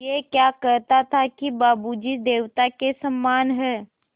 ऐं क्या कहता था कि बाबू जी देवता के समान हैं